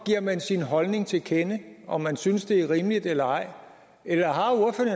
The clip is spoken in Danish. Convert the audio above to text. giver man sin holdning til kende om hvorvidt man synes det er rimeligt eller ej eller